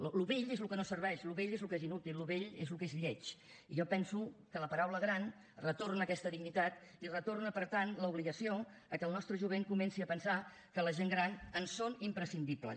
allò vell és allò que no serveix allò vell és allò inútil allò vell és allò lleig i jo penso que la paraula gran retorna aquesta dignitat i retorna per tant l’obligació que el nostre jovent comenci a pensar que la gent gran ens són imprescindibles